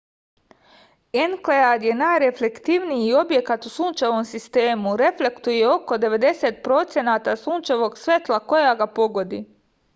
enkelad je najreflektivniji objekat u sunčevom sistemu reflektuje oko 90 procenata sunčevog svetla koje ga pogodi